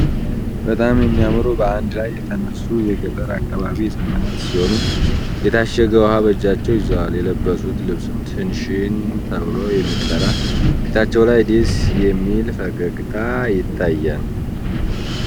በጣም የሚያምሩ በአንድ ላይ የተነሱ የገጠር አካባቢ ህጻናት ሲሆኑ። የታሸገ ውሃ በእጃቸው ይዘዋል። የለበሱት ልብስም ሽንሽን ተብሎ ይጠራል። ፊታቸው ላይ ደስ የሚል ፈገግታ ይታያል።